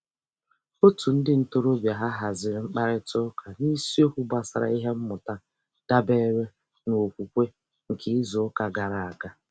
Òtù ndị ntorobịa ha haziri mkparịtaụka n'isiokwu gbasara ihe mmụta dabeere n'okwukwe nke izuụka gara aga.